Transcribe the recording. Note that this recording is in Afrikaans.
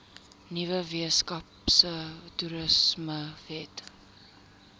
nuwe weskaapse toerismewet